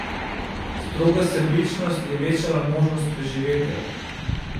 Stroga sebičnost je večala možnost preživetja.